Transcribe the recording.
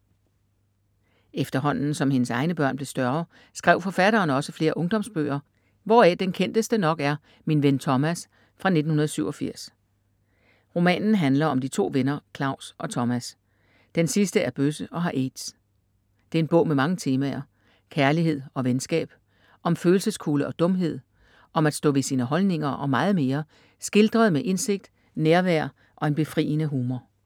Efterhånden som hendes egne børn blev større, skrev forfatteren også flere ungdomsbøger, hvoraf den kendteste nok er Min ven Thomas fra 1987. Romanen handler om de 2 venner Claus og Thomas. Den sidste er bøsse og har AIDS. Det er en bog med mange temaer: kærlighed og venskab, om følelseskulde og dumhed, om at stå ved sine holdninger og meget mere, skildret med indsigt, nærvær og en befriende humor.